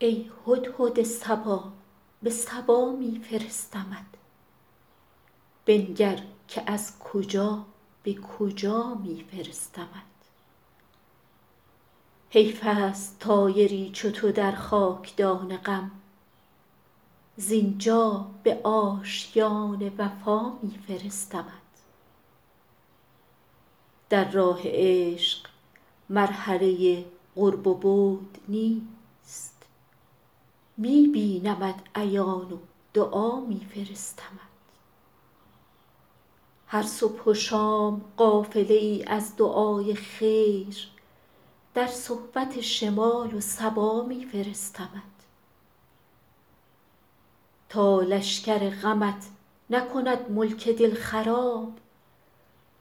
ای هدهد صبا به سبا می فرستمت بنگر که از کجا به کجا می فرستمت حیف است طایری چو تو در خاک دان غم زین جا به آشیان وفا می فرستمت در راه عشق مرحله قرب و بعد نیست می بینمت عیان و دعا می فرستمت هر صبح و شام قافله ای از دعای خیر در صحبت شمال و صبا می فرستمت تا لشکر غمت نکند ملک دل خراب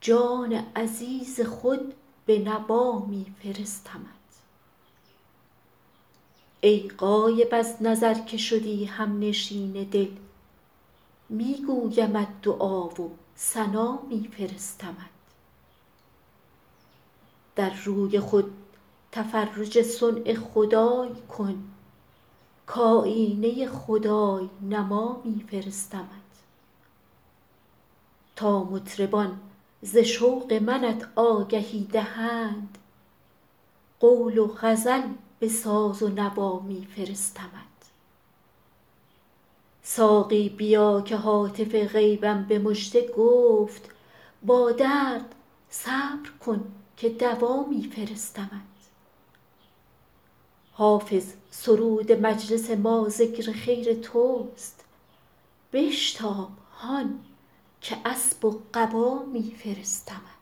جان عزیز خود به نوا می فرستمت ای غایب از نظر که شدی هم نشین دل می گویمت دعا و ثنا می فرستمت در روی خود تفرج صنع خدای کن کآیینه خدای نما می فرستمت تا مطربان ز شوق منت آگهی دهند قول و غزل به ساز و نوا می فرستمت ساقی بیا که هاتف غیبم به مژده گفت با درد صبر کن که دوا می فرستمت حافظ سرود مجلس ما ذکر خیر توست بشتاب هان که اسب و قبا می فرستمت